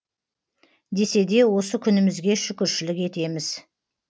десе де осы күнімізге шүкіршілік етеміз